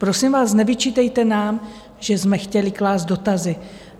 Prosím vás, nevyčítejte nám, že jsme chtěli klást dotazy.